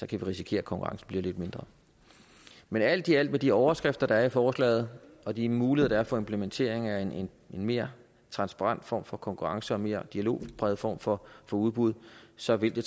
vi risikere at konkurrencen bliver lidt mindre men alt i alt med de overskrifter der er i forslaget og de muligheder der er for implementering af en mere transparent form for konkurrence og en mere dialogpræget form for udbud så vil det